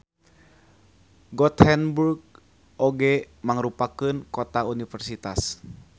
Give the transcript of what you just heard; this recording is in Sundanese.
Gothenburg oge mangrupakeun kota universitas.